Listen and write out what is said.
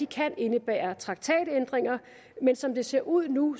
kan indebære traktatændringer men som det ser ud nu